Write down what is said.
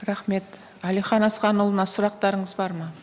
рахмет әлихан асханұлына сұрақтарыңыз бар ма